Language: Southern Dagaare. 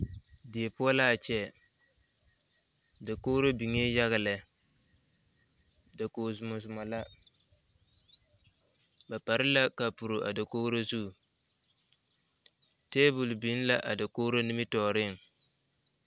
Die poɔ laa kyɛ dakogro biŋee yaga lɛ dakoge zumɔzumɔ la ba pare la kapuro a dakogro zu tabol biŋ la a dakogro nimitooreŋ.